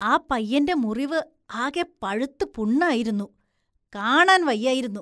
ആ പയ്യന്റെ മുറിവ് ആകെ പഴുത്ത് പുണ്ണായിരുന്നു, കാണാന്‍ വയ്യായിരുന്നു.